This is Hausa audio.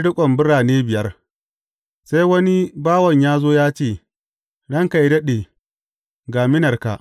Sai wani bawan ya zo ya ce, Ranka yă daɗe, ga minarka.